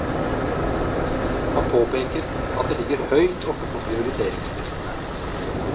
Han påpeker at det ligger høyt oppe på prioriteringslistene.